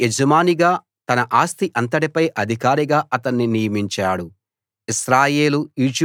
తన ఇంటికి యజమానిగా తన ఆస్తి అంతటిపై అధికారిగా అతణ్ణి నియమించాడు